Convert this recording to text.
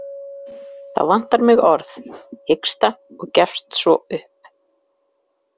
Þá vantar mig orð, hiksta og gefst svo upp.